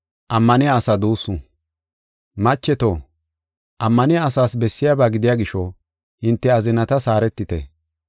Macheto, ammaniya asaas bessiyaba gidiya gisho, hinte azinatas haaretite.